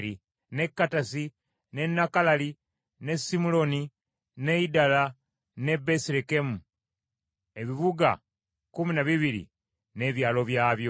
ne Kattasi, ne Nakalali, ne Simuloni, ne Idala, ne Besirekemu , ebibuga kkumi na bibiri, n’ebyalo byabyo.